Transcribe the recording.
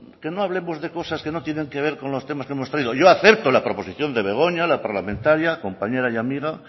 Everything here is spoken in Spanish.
que no hablemos de cosas que no tienen que ver con los temas que hemos traído yo acepto la proposición de begoña la parlamentaria compañera y amiga